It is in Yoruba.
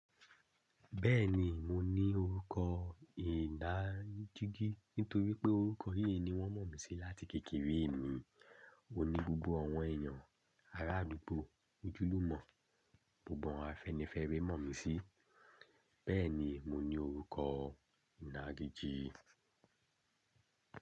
Bẹ́ẹ̀ni, mo ní orúkọ ìdájíjí nítorí pé orúkọ yí ni wọ́n mọ̀ mí sí láti kékeré mi. Ó ní gbogbo àwọn èèyàn ará àdúgbò ojúlùmọ̀, gbogbo àwọn afẹ́nifẹ́re mọ̀ mí sí, bẹ́ẹ̀ ni mo ní orúkọ ìnágijí.